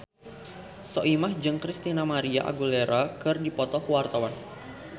Soimah jeung Christina María Aguilera keur dipoto ku wartawan